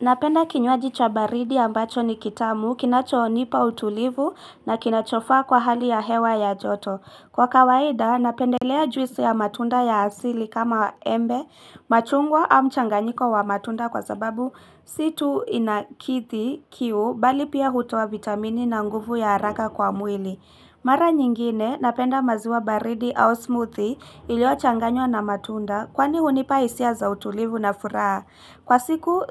Napenda kinyuaji cha baridi ambacho ni kitamu, kinacho nipa utulivu na kinachofa kwa hali ya hewa ya joto. Kwa kawaida, napendelea juisi ya matunda ya asili kama embe, machungwa au mchanganyiko wa matunda kwa sababu situ inakithi kiu bali pia hutowa vitamini na nguvu ya haraka kwa mwili. Mara nyingine, napenda maziwa baridi au smoothie ilio changanyo na matunda kwani hunipa hisia za utulivu na furaha. Kwa siku